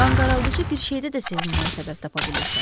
Qanqaraldıcı bir şeydə də sevinməyə səbəb tapa bilirsən.